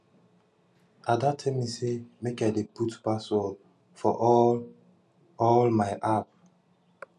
ada tell me say make i dey put password for all all my app